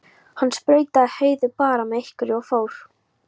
Hann sprautaði Heiðu bara með einhverju og fór.